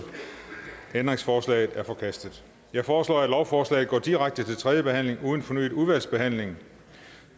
ændringsforslaget er forkastet jeg foreslår at lovforslaget går direkte til tredje behandling uden fornyet udvalgsbehandling